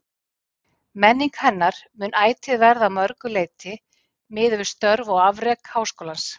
Menning hennar mun ætíð verða að mörgu leyti miðuð við störf og afrek Háskólans.